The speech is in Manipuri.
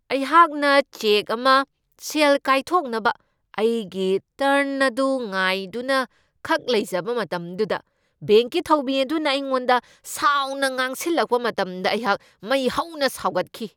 ꯑꯩꯍꯥꯛꯅ ꯆꯦꯛ ꯑꯃ ꯁꯦꯜ ꯀꯥꯏꯊꯣꯛꯅꯕ ꯑꯩꯒꯤ ꯇꯔꯟ ꯑꯗꯨ ꯉꯥꯏꯗꯨꯅꯈꯛ ꯂꯩꯖꯕ ꯃꯇꯝꯗꯨꯗ ꯕꯦꯡꯛꯀꯤ ꯊꯧꯃꯤ ꯑꯗꯨꯅ ꯑꯩꯉꯣꯟꯗ ꯁꯥꯎꯅ ꯉꯥꯡꯁꯤꯜꯂꯛꯄ ꯃꯇꯝꯗ ꯑꯩꯍꯥꯛ ꯃꯩ ꯍꯧꯅ ꯁꯥꯎꯒꯠꯈꯤ꯫